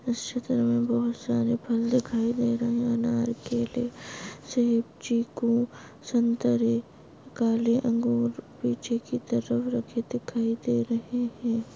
इस चित्र मे बहुत सारे फल दिखाई दे रहे है अनार केले सेब चीकू संतरे काले अंगूर पीछे की तरफ रखे दिखाई दे रहे है।